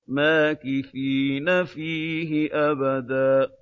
مَّاكِثِينَ فِيهِ أَبَدًا